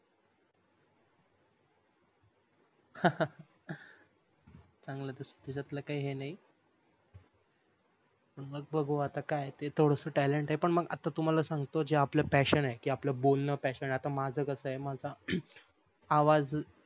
संगल तर याच्यात काही हे नाही मग बघू आता काय ते थोडस talent आहे पण मग तुम्हाला सांगतो जे आपले fashion आहे कि आपल बोलन fashion आहे माझ कस आहे माझ आवाज चांगल आहे